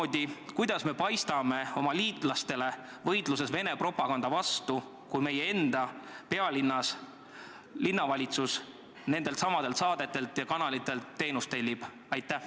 Ja kuidas me paistame oma liitlastele võitluses Vene propaganda vastu, kui meie enda pealinnas linnavalitsus nendeltsamadelt kanalitelt teenust tellib?